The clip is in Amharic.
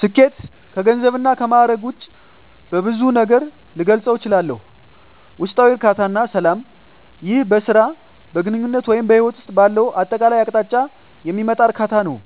ስኬት ከገንዘብ እና ከማእረግ ውጭ በብዙ ነገር ልገልፀው እችላልሁ። ውስጣዊ እርካታ እና ሰላም ይህ በሥራ፣ በግንኙነት ወይም በሕይወት ውስጥ ባለው አጠቃላይ አቅጣጫ የሚመጣ እርካታ ነው።